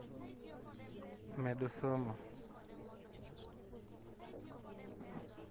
medo somo